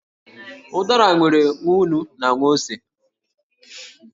Ụ̀dàrà nwere nwa ǹnú na nwa ósé